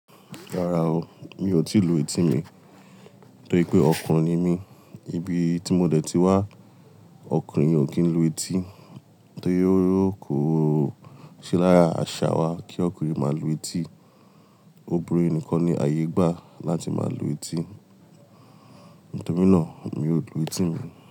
Rárá o, mi ò tí lu eti mi. Torí pé ọkùnrin ni mí, ibi tí mo dẹ̀ ti wá, ọkùnrin ò kí ń lu eti. Torí ko ṣe lára àṣà wa kí ọkùnrin máa lu eti. Obìnrin nìkan ni àyè gba láti máa lu eti. Nítorí nà mi ò lu eti mi.